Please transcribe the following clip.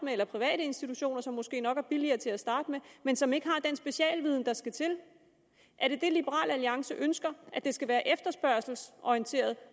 eller private institutioner som måske nok er billigere til at starte med men som ikke har den specialviden der skal til er det liberal alliance ønsker at det skal være efterspørgselsorienteret